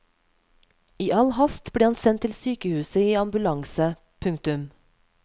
I all hast ble han sendt til sykehuset i ambulanse. punktum